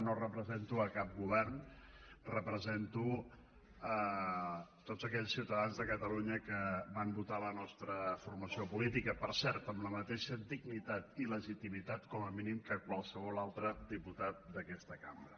no represento cap govern represento tots aquells ciutadans de catalunya que van votar la nostra formació política per cert amb la mateixa dignitat i legitimitat com a mínim que qualsevol altre diputat d’aquesta cambra